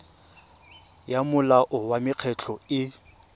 ya molao wa mekgatlho e